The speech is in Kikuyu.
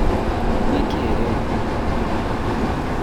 nikĩĩ rĩu